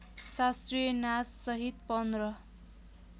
शास्त्रीय नाचसहित पन्ध्र